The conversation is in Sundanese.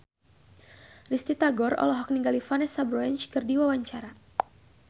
Risty Tagor olohok ningali Vanessa Branch keur diwawancara